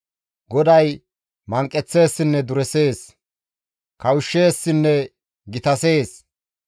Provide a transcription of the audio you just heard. GODAY manqeththeessinne duresees; kawushsheessinne gitasees.